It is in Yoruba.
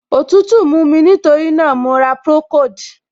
Òtútù mú mí, nítorí náà, mo ra procold.